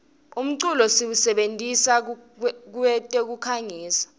umculo siwusebentisa kwetekukhangisa